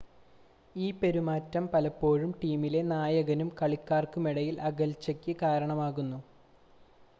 ഈ പെരുമാറ്റം പലപ്പോഴും ടീമിലെ നായകനും കളിക്കാർക്കുമിടയിൽ അകൽച്ചയ്ക്ക് കാരണമാകുന്നു